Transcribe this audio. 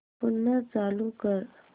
पुन्हा चालू कर